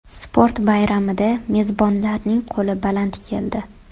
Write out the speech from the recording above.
Sport bayramida mezbonlarning qo‘li baland keldi.